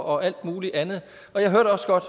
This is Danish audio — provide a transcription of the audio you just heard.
og alt muligt andet jeg hørte også godt